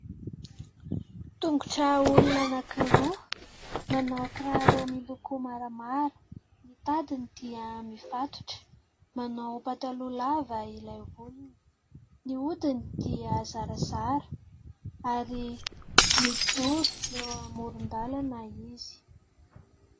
Tongotra olona anankiroa manao kiraro miloko maramara, ny tadiny dia mifatotra, manao pataloha lava ilay olona, ny hodiny dia zarazara ary mijoro eo amoron-dàlana izy.